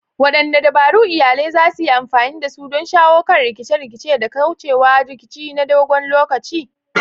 Wadanne dabaru iyalai za su yi amfani da su don shawo kan rikice-rikice da kauce wa rikici na dogon lokaci?